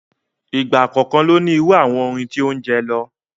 Ìgbà kọ̀ọ̀kan ló ní irú àwọn orin tí ó ń jẹ lọ.